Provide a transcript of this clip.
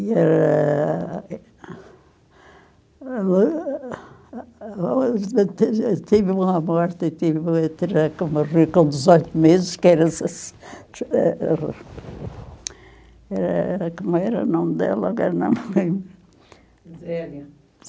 E eh... Tive tive uma morte, tive enterrar com morrer com dezoito meses, que era essas... Eh... era... Como era o nome dela, agora não me lembro.